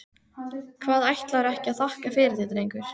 Hvað, ætlarðu ekki að þakka fyrir þig drengur?